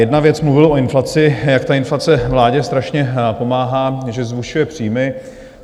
Jedna věc, mluvil o inflaci, jak ta inflace vládě strašně pomáhá, že zvyšuje příjmy.